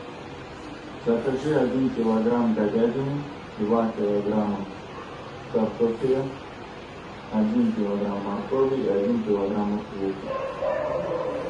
закажи один килограмм говядины два килограмма картофеля один килограмм моркови и один килограмм лука